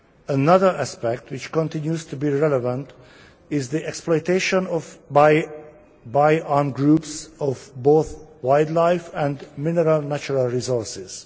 Another aspect which continues to be relevant is the exploitation by armed groups of both wildlife and mineral natural resources.